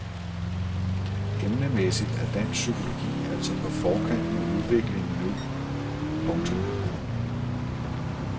Emnemæssigt er dansk psykologi altså på forkant med udviklingen nu. punktum